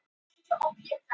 Enn ein svæfingin.